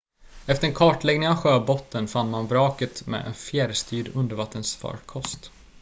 efter en kartläggning av sjöbotten fann man vraket med en fjärrstyrd undervattensfarkost